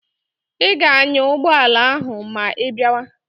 Ị ga-anya ụgbọala ahụ ma ị bịawa!